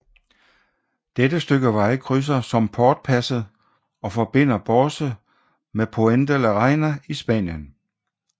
Dette stykke vej krydser Somportpasset og forbinder Borce med Puente la Reina i Spanien